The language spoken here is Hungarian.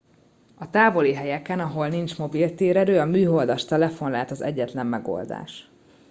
a távoli helyeken ahol nincs mobil térerő a műholdas telefon lehet az egyetlen megoldás